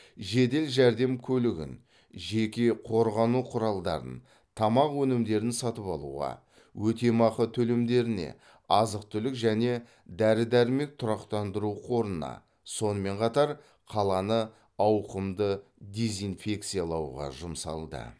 жедел жәрдем көлігін жеке қорғану құралдарын тамақ өнімдерін сатып алуға өтемақы төлемдеріне азық түлік және дәрі дәрмек тұрақтандыру қорына сонымен қатар қаланы ауқымды дезинфекциялауға жұмсалды